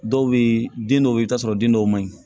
Dɔw bɛ yen den dɔw bɛ yen i bɛ t'a sɔrɔ den dɔw man ɲi